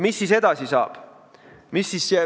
Mis siis edasi saab?